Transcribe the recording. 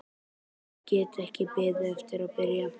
Ég get ekki beðið eftir að byrja.